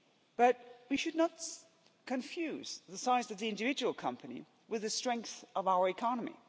But we should not confuse the size of the individual company with the strength of our economy.